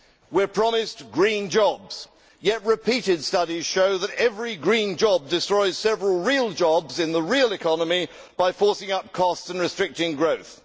We are promised green jobs yet repeated studies show that every green job destroys several real jobs in the real economy by forcing up costs and restricting growth.